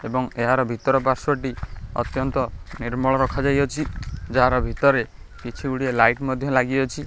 ଏବଂ ଏହାର ଭିତର ପାର୍ଶ୍ବଟି ଅତ୍ୟନ୍ତ ନିର୍ମଳ ରଖାଯାଇଅଛି ଯାହାର ଭିତରେ କିଛି ଗୁଡ଼ିଏ ଲାଇଟ୍ ମଧ୍ୟ ଲାଗିଅଛି।